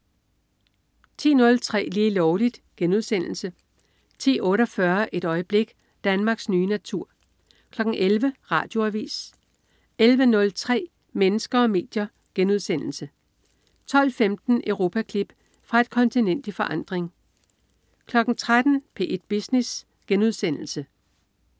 10.03 Lige Lovligt* 10.48 Et øjeblik. Danmarks nye natur 11.00 Radioavis 11.03 Mennesker og medier* 12.15 Europaklip. Fra et kontinent i forandring 13.00 P1 Business*